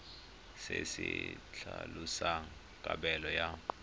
se se tlhalosang kabelo ya